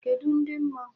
Kedụ ndị mmụọ?